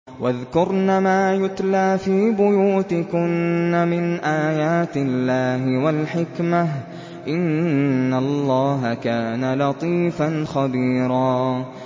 وَاذْكُرْنَ مَا يُتْلَىٰ فِي بُيُوتِكُنَّ مِنْ آيَاتِ اللَّهِ وَالْحِكْمَةِ ۚ إِنَّ اللَّهَ كَانَ لَطِيفًا خَبِيرًا